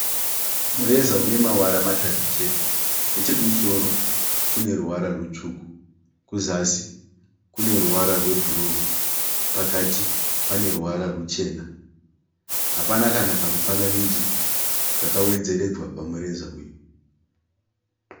Mureza unemawara matatu chete. Nechekumusoro kuneruwara rutsvuku. Kuzasi kune ruwara rwebhuruu. Pakati pane ruwara ruchena. Hapana kana kamufananidzo kakawedzeredzwa pamureza uyu.